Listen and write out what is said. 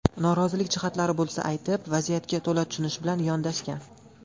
Norozilik jihatlari bo‘lsa aytib, vaziyatga to‘la tushunish bilan yondashgan.